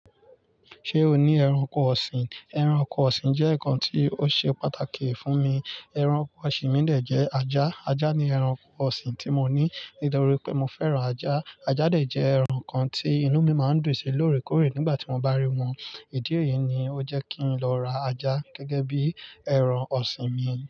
Ṣé o ní ẹranko ọ̀sìn? Ẹranko ọ̀sìn jẹ́ ǹkan tí ó ṣe pàtàkì fún mi, ẹranko ọ̀sìn mi dẹ̀ jẹ́ ajá. Ajá ni ẹranko ọ̀sìn tí mo ní nítorí pé mo fẹ́ran ajá. Ajá dẹ̀ jẹ́ ẹ̀ràn kan tí inú mi máa ń dùn sí lóòrèkóòrè nígbà tí mo bá rí wọn. Ìdí èyí ni ó jẹ́ kí n lọ ra ajá gẹ́gẹ́ bí ẹran ọ̀sìn mi.